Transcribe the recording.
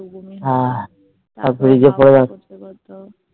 বমি হয় তারপর